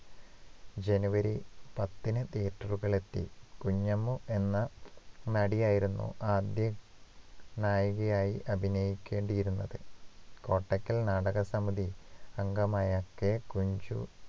ജനുവരി പത്തിന് theatre കളിൽ എത്തി കുഞ്ഞമ്മു എന്ന നടിയായിരുന്നു ആദ്യ നായികയായി അഭിനയിക്കേണ്ടിയിരുന്നത് കോട്ടക്കൽ നാടക സമിതി അംഗമായ K കുഞ്ചു